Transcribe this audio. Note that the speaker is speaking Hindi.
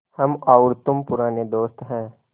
हम और तुम पुराने दोस्त हैं